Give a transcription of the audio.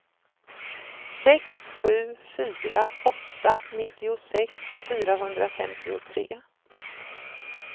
sex sju fyra åtta nittiosex fyrahundrafemtiotre